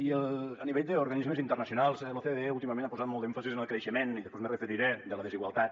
i a nivell d’organismes internacionals l’ocde últimament ha posat molt d’èmfasi en el creixement i després m’hi referiré de la desigualtat